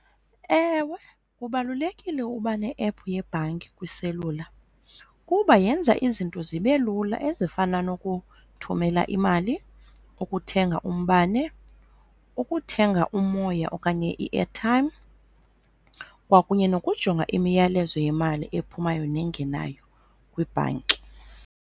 Ewe, kubalulekile uba ne-ephu yebhanki kwiselula kuba yenza izinto zibe lula ezifana nokuthumela imali, ukuthenga umbane, ukuthenga umoya okanye i-airtime kwakunye nokujonga imiyalezo yemali ephumayo nengenayo kwibhanki.